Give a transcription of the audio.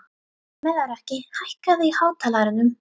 Melrakki, hækkaðu í hátalaranum.